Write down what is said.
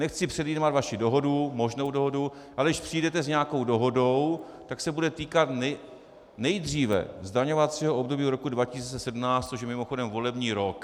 Nechci předjímat vaši dohodu, možnou dohodu, ale když přijdete s nějakou dohodou, tak se bude týkat nejdříve zdaňovacího období roku 2017, což je mimochodem volební rok.